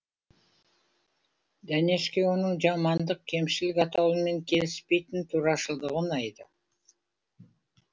дәнешке оның жамандық кемшілік атаулымен келіспейтін турашылдығы ұнайды